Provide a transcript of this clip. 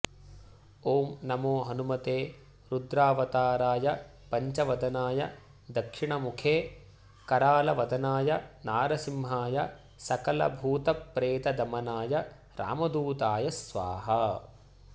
ॐ नमो हनुमते रुद्रावताराय पञ्चवदनाय दक्षिणमुखे करालवदनाय नारसिंहाय सकलभूतप्रेतदमनाय रामदूताय स्वाहा